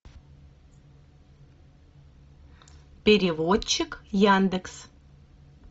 переводчик яндекс